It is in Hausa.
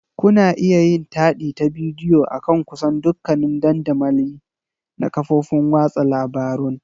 Kuna iya yin taɗi ta bidiyo akan kusan dukkanin dandamali na kafofin watsa labarun.